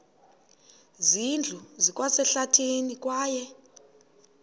zindlu zikwasehlathini kwaye